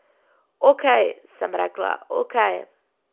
Okej, sem rekla, okej.